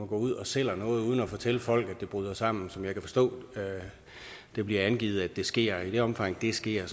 går ud og sælger noget uden at fortælle folk at det bryder sammen som jeg kan forstå det bliver angivet at det sker i det omfang det sker